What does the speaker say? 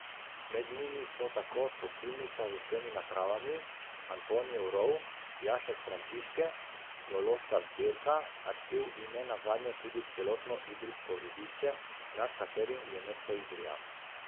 Med njimi so tako topilnica z vsemi napravami, Antonijev rov, jašek Frančiške, geološka zbirka, arhiv in ne nazadnje tudi celotno idrijsko rudišče, nad katerim je mesto Idrija.